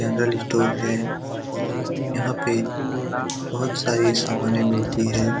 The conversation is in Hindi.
जनरल स्टोर है और यहाँ पे बहुत सारी समाने मिलती हैं ।